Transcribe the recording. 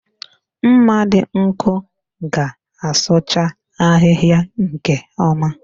Mma dị nkọ ga-asụcha ahịhịa nke ọma